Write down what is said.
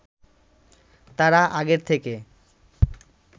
তারা আগের থেকে